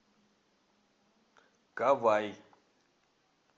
кавай